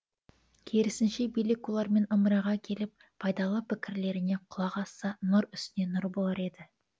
керісінше билік олармен ымыраға келіп пайдалы пікірлеріне құлақ асса нұр үстіне нұр болар еді